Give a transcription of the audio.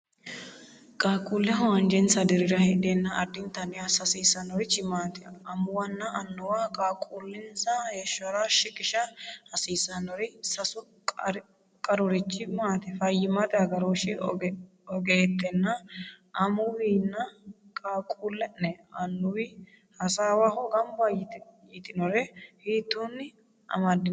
Qaaqquulleho anjesa dirira heedheenna addintanni assa hasiisannorichi maati? Amuwunna annuwu qaaqquullinsa heeshshora shiqisha hasiissannori sasu qarurichi maati? Fayyimmate agarooshshi ogeettenna amuwinna qaaqquulle’ne annuwi hasaawaho gamba yitinore hiittoonni amaddinanni?